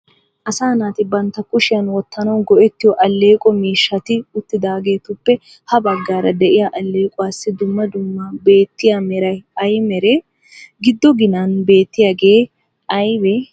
Asaa naati bantta kushiyan wottanawu go'ettiyo alleeqo miishshati uttidaageetuppe ha baggaara de'iya alleequwaassi dumma dumma beetiya meray ay meree? Giddo ginan beettiyagee aybee?